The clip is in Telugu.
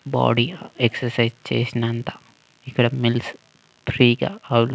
బోడి ఎక్సర్సైస్ చేసినంత ఇక్కడ మిల్స్ ఫ్రీ గా ఆ--